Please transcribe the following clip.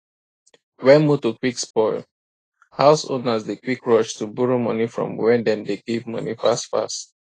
when motor quick spoil house owners dey quick rush to borrow money from were dem dey give money fast fast